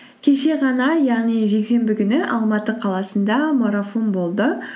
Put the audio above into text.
кеше ғана яғни жексенбі күні алматы қаласында марафон болды